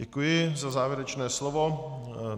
Děkuji za závěrečné slovo.